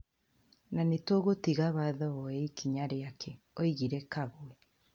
Na nĩtũgũtiga watho woye ikinya riake," augire Kagwe.